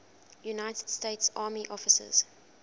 united states army officers